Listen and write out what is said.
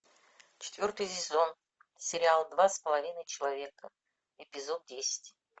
четвертый сезон сериал два с половиной человека эпизод десять